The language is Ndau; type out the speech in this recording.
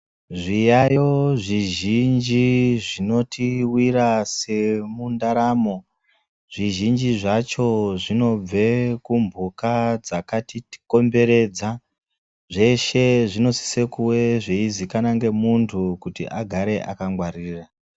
Zviyayo zvizhinji zvinotiwira semundaramo. Zvizhinji zvacho zvinobve kumbuka dzakatikomberedza. Zveshe zvinosise kuve zveizikanwa ngemuntu kuti agare akangwarira.